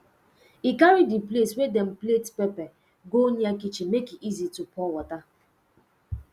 e carry the place wey dem plate pepper go near kitchen make e easy to pour water